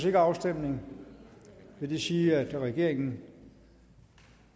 ikke afstemning vil det sige at regeringen